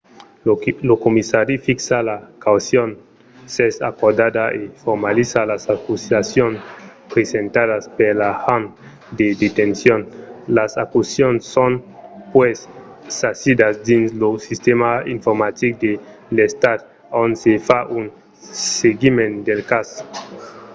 lo comissari fixa la caucion s'es acordada e formaliza las acusacions presentadas per l'agent de detencion. las acusacions son puèi sasidas dins lo sistèma informatic de l'estat ont se fa un seguiment del cas